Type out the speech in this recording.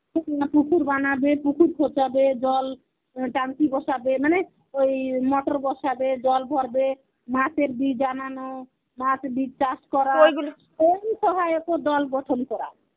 পুকুর বানাবে পুকুর জল টাঙ্কি বসাবে মানে ওই motor বসাবে জল ভরবে মাছের বীজ আনানো মাছ বীজ চাষ করা ওই দল গঠন করা.